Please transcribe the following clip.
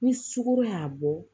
Ni sukoro y'a bɔ